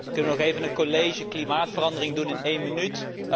Kunnen we nog even een college klimaatverandering doen in één minuut?